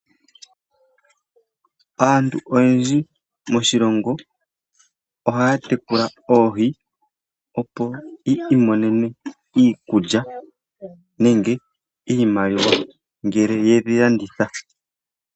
Aantu oyendji moshilongo ohaya tekula oohi opo yi imonene iikulya nenge iimaliwa ngele yedhi landitha.